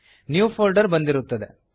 new folder ಬಂದಿರುತ್ತದೆ